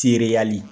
Tereyali